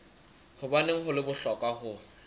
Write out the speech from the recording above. hobaneng ho le bohlokwa ho